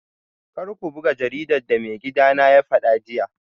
Kar ku buga jaridar da maigidana ya fada jiya